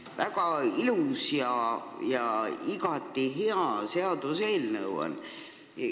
See on väga ilus ja igati hea seaduseelnõu.